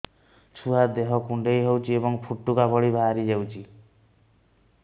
ଛୁଆ ଦେହ କୁଣ୍ଡେଇ ହଉଛି ଏବଂ ଫୁଟୁକା ଭଳି ବାହାରିଯାଉଛି